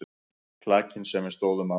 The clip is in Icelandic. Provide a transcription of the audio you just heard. Klakinn sem við stóðum á.